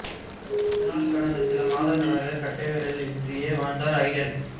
இதனால் கடந்த சில மாதங்களாக கட்டை விரல் இன்றியே வாழ்ந்தார் ஐடன்